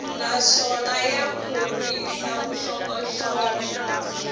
naswona ya khorwisa vuxokoxoko